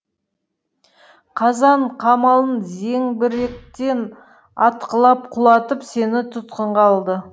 қазан қамалын зеңбіректен атқылап құлатып сені тұтқынға алды